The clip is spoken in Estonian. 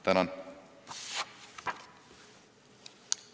Tänan!